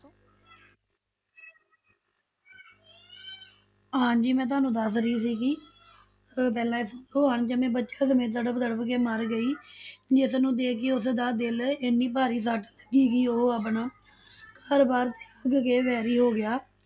ਹਾਂਜੀ ਮੈਂ ਤੁਹਾਨੂੰ ਦੱਸ ਰਹੀ ਸੀਗੀ ਪਹਿਲਾਂ ਇਸਤੋਂ ਅਣਜੰਮੇ ਬਚਿਆਂ ਸਮੇਤ ਤੜਪ ਤੜਪ ਕੇ ਮਰ ਗਈ ਜਿਸਨੂੰ ਦੇਖ ਕੇ ਉਸਦਾ ਦਿਲ ਇੰਨੀ ਭਾਰੀ ਸੱਟ ਲਗੀ ਕਿ ਉਹ ਆਪਣਾ ਘਰ ਬਾਰ ਤਿਆਗ ਕੇ ਵੈਰੀ ਹੋ ਗਿਆ।